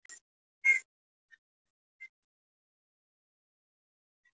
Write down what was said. Við hugsum nefnilega líka með hjartanu og öllum líkamanum.